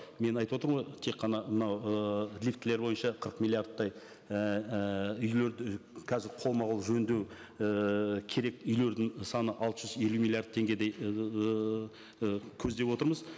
мен айтып отырмын ғой тек қана мынау ыыы лифтілер бойынша қырық миллиардтай ііі үйлерді қазір қолма қол жөндеу ііі керек үйлердің саны алты жүз елу миллиард теңгедей ыыы көздеп отырмыз